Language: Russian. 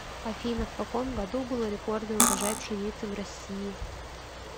афина в каком году был рекордный урожай пшеницы в россии